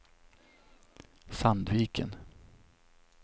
Sandviken